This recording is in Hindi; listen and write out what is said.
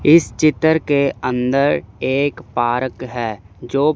इस चित्र के अंदर एक पारक है जो--